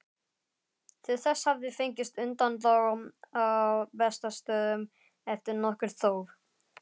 Til þess hafði fengist undanþága á Bessastöðum eftir nokkurt þóf.